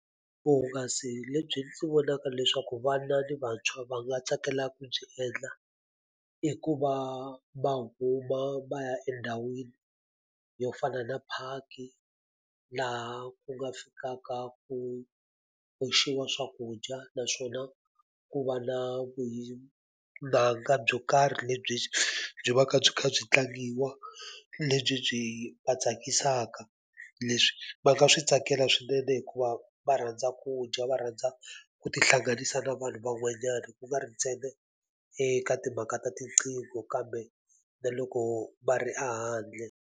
Vuhungasi lebyi ndzi vonaka leswaku vana ni vantshwa va nga tsakelaka ku byi endla i ku va va huma va ya endhawini yo fana na park-i laha ku nga fikaka ku oxiwa swakudya naswona ku va na byo karhi lebyi byi vaka byi kha byi tlangiwa lebyi byi va tsakisaka leswi va nga swi tsakela swinene hikuva va rhandza ku dya va rhandza ku tihlanganisa na vanhu van'wanyana ku nga ri ntsena eka timhaka ta tiqingho kambe na loko va ri a handle.